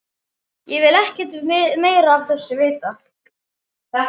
Ég vil ekkert meira af þessu vita.